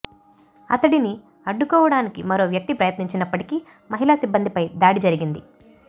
అతడిని అడ్డుకోవడానికి మరో వ్యక్తి ప్రయత్నించినప్పటికీ మహిళా సిబ్బందిపై దాడి జరిగింది